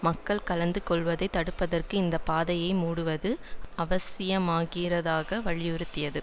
மக்கள் கலந்து கொள்வதை தடுப்பதற்கு இந்த பாதையை மூடுவது அவசியமாகிருதாக வலியுறுத்தியது